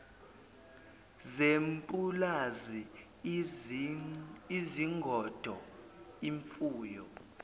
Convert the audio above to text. zepulazi izingodo imfuyo